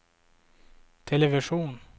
television